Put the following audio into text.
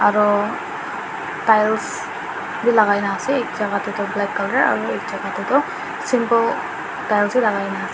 aro tiles b lagai na ase ek jaga de tho black color aro ek jaga de tho simple tiles h lagai na ase.